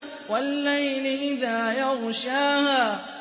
وَاللَّيْلِ إِذَا يَغْشَاهَا